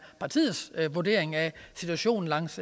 partiets vurdering af situationen langs